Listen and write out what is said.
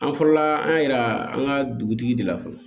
An fɔlɔla an y'a yira an ka dugutigi de la fɔlɔ